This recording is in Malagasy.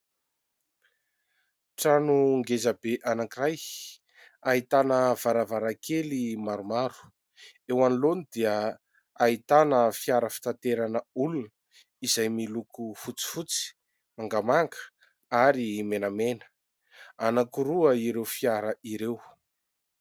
Trano ngeza be anankiray, ahitana varavarankely maromaro. Eo anoloany dia ahitana fiara fitaterana olona izay miloko fotsifotsy, mangamanga ary menamena. Anankiroa ireo fiara ireo.